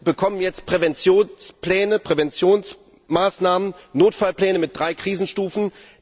Denn wir bekommen jetzt Präventionspläne, Präventionsmaßnahmen, Notfallpläne mit drei Krisenstufen.